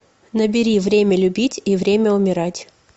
набери время любить и время умирать